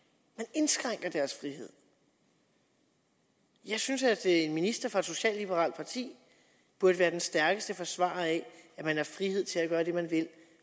indskrænker deres frihed jeg synes at en minister fra et socialliberalt parti burde være den stærkeste forsvarer af at man har frihed til at gøre det man vil